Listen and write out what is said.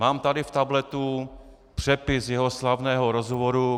Mám tady v tabletu přepis jeho slavného rozhovoru.